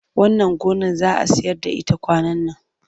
Wannan gonar za a sayar da ita kwanan nan.